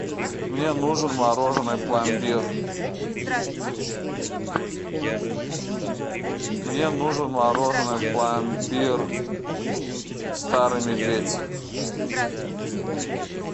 мне нужен мороженое пломбир мне нужен мороженое пломбир старый медведь